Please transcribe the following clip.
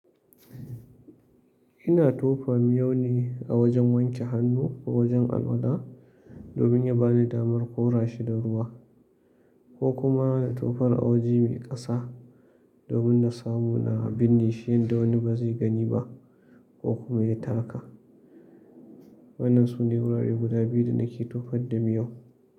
Ina tofa miyau ne a wajen wanke hannu, ko wajen alwala, domin ya ba ni damar kora shi da ruwa. Ko kuma na tofar a waje mai kasa, domin na samu na binne shi yadda wani ba zai gani ba ko kuma ya taka. Wannan sun yi wurare guda biyu da nake tofar da miyau.